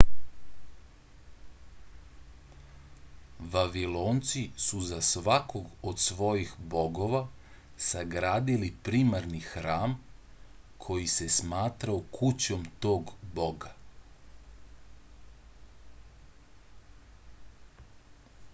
vavilonci su za svakog od svojih bogova sagradili primarni hram koji se smatrao kućom tog boga